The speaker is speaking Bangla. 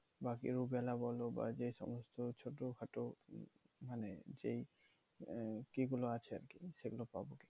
বা rubella বলো বা যে সমস্ত ছোটোখাটো মানে যেই আহ ই গুলো আছে আরকি সেগুলো পাবো কি?